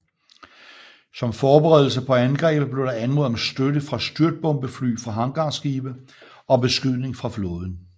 Som forberedelse på angrebet blev der anmodet om støtte fra styrtbombefly fra hangarskibe og beskydning fra flåden